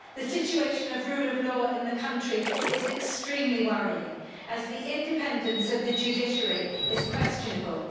The situation of rule of law in the country is extremely worrying as the independence of the judiciary is questionable.